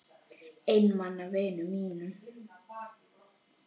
Einmana vinum mínum.